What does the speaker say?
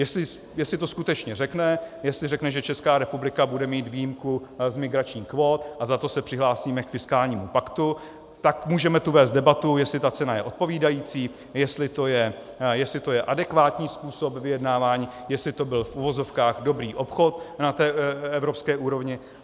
Jestli to skutečně řekne, jestli řekne, že Česká republika bude mít výjimku z migračních kvót a za to se přihlásíme k fiskálnímu paktu, tak můžeme tu vést debatu, jestli ta cena je odpovídající, jestli to je adekvátní způsob vyjednávání, jestli to byl v uvozovkách dobrý obchod na té evropské úrovni.